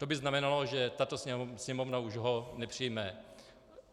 To by znamenalo, že tato Sněmovna už ho nepřijme.